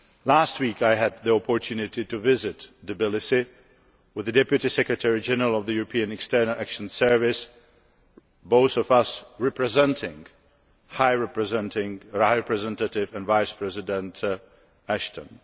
Last week, I had the opportunity to visit Tbilisi with the Deputy Secretary General of the European External Action Service, both of us representing High Representative and Vice President Ashton.